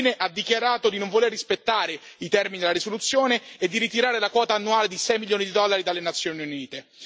Infine, ha dichiarato di non voler rispettare i termini della risoluzione e di ritirare la quota annuale di 6 milioni di dollari dalle Nazioni Unite.